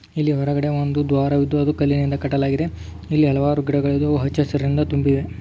ಹೊರಗಡೆ ಬಂದು ದ್ವಾರವಿದ್ದು ಕಟ್ಟಲಾಗಿದೆ ಇಲ್ಲೇ ಹಲವಾರು ಗಿಡಗಳ ಹಚ್ಚ ಹಸಿರಿನಿಂದ ತುಂಬಿ--